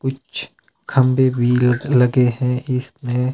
कुछ खंभे भी लगे हैं इसमें--